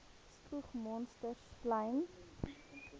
spoeg monsters slym